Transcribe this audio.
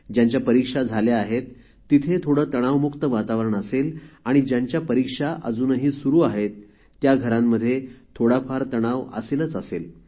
ज्यांच्या परीक्षा झाल्या आहेत तिथे थोडे तणावमुक्त वातावरण असेल आणि ज्यांच्या परीक्षा अजूनही सुरू आहेत त्या घरांमध्ये थोडाफार तणाव असेलच असेल